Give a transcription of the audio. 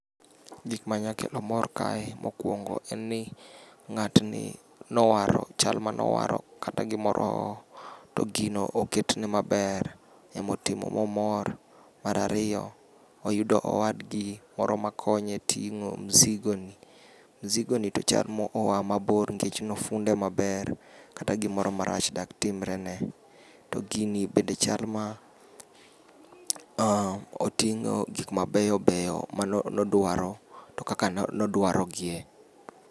Gik ma nyalo kelo mor kae mokuongo en ni ng'at ni nowaro, chal manowaro kata gimoro to gino oketne maber, emotimo momor. Mar ariyo, oyudo owadgi moro makonye ting'o mzigo ni. Mzigo ni to chal moa mabor nikech nofunde maber. Kata gimoro marach dak timre ne. To gini bende chal ma oting'o gik mabeyo beyo, mane odwaro to kaka ne odwaro giye.